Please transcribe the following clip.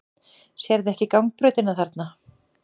Sérðu ekki gangbrautina þarna?